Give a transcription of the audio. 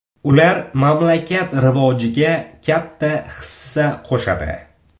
Ular mamlakat rivojiga katta hissa qo‘shadi.